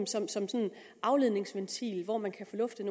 som sådan en afledningsventil hvor man kan få luftet